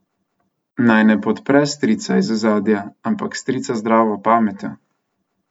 Naj ne podpre strica iz ozadja, ampak strica z zdravo pametjo.